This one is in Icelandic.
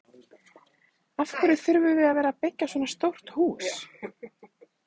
Af hverju þurfum við að vera að byggja svona stórt hús?